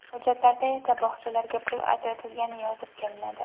Hujjatlarda esa bog‘chalarga pul ajratilgani yozib kelinadi”.